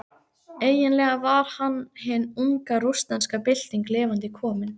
Eiginlega var hann hin unga rússneska bylting lifandi komin.